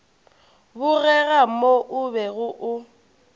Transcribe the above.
bogega mo o bego o